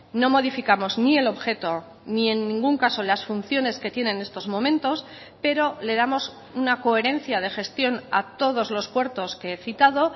no modificamos ni el objeto ni en ningún caso las funciones que tiene en estos momentos pero le damos una coherencia de gestión a todos los puertos que he citado